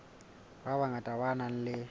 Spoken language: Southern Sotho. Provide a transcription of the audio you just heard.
ba bangata ba nang le